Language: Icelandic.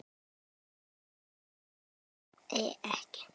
Ég svaraði ekki.